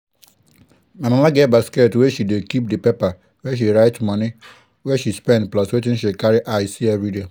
my mama get basket wey she dey keep di paper where she write moni wey she spend plus wetin she carry eye see everiday.